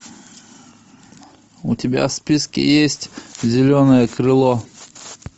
у тебя в списке есть зеленое крыло